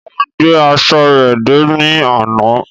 Wón gbé aṣọ rẹ dé ní àna.